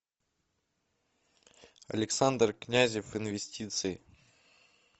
александр князев инвестиции